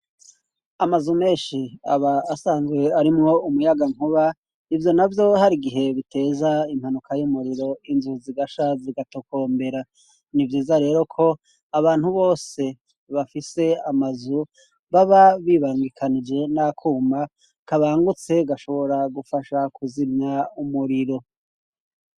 Amazu menshi aba asanzwe arimo umuyagankuba, ivyo navyo hari igihe biteza impanuka y'umuriro inzuzigasha zigatokombera. Nivyiza rero ko abantu bose bafise amazu, baba bibangikanije n'akuma kabangutse gashobora gufasha kuzimya umuriro.